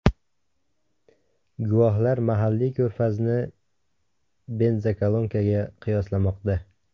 Guvohlar mahalliy ko‘rfazni benzokolonkaga qiyoslamoqda.